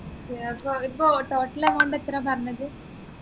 ഏർ അതിപ്പോ total amount എത്ര പറഞ്ഞത്